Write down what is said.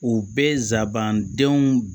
U bɛɛ nsabandenw